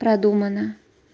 продумано